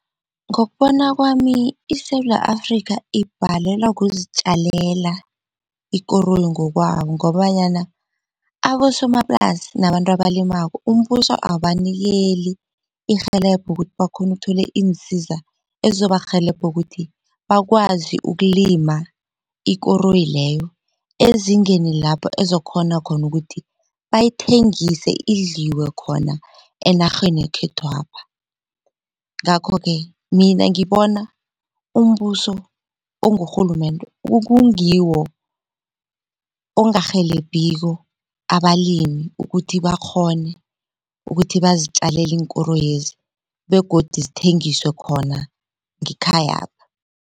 Ngokubona kwami iSewula Afrika ibhalelwa kuzitjalela ekoroyi ngokwabo ngobanyana abosomaplasi nabantu abalimako umbuso awubanikeli irhelebho ukuthi bakghone ukuthola iinsiza ezizobarhelebha ukuthi bakwazi ukulima ikoroyi leyo ezingeni lapho ezokukhona khona ukuthi bayithengise idliwe khona enarheni yekhethwapha. Ngakho-ke mina ngibona umbuso ongurhulumende kukungiwo ongarhelebhiko abalimi ukuthi bakghone ukuthi bazitjalele iinkoroyezi begodu zithengiswe khona ngekhayapha.